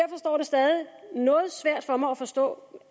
stadig noget svært for mig at forstå